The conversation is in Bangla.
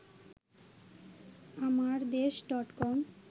আমারদেশ ডট কম